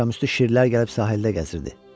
Axşamüstü şirlər gəlib sahildə gəzirdi.